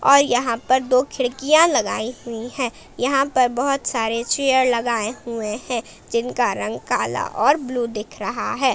और यहां पर दो खिड़कियां लगाई हुई हैं यहां पर बहोत सारे चेयर लगाए हुए हैं जिनका रंग काला और ब्लू दिख रहा है।